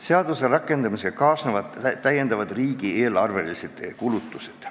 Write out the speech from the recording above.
Seaduse rakendamisega kaasnevad täiendavad riigieelarvelised kulutused.